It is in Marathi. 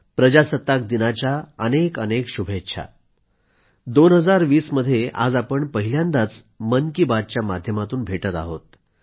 प्रजासत्ताक दिनाच्या अनेकअनेक शुभेच्छा 2020 मध्ये आज आपण पहिल्यांदाच मन की बातच्या माध्यमातून भेटत आहोत